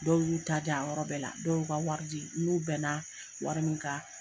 Dɔw y'u ta di a yɔrɔ bɛɛ la dɔw y'u ka wari di n n'u bɛn na wari min kan.